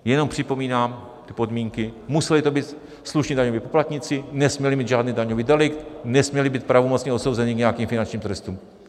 Jenom připomínám ty podmínky: museli to být slušní daňoví poplatníci, nesměli mít žádný daňový delikt, nesměli být pravomocně odsouzeni k nějakým finančním trestům.